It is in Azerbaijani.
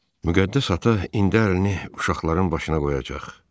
Müqəddəs ata indi əlini uşaqların başına qoyacaq.